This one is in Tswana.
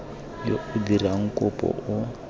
yo o dirang kopo o